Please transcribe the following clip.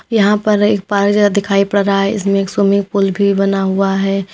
यहां पर एक पार्क जैसा दिखाई पड़ रहा है इसमें एक स्विमिंग पूल भी बना हुआ है।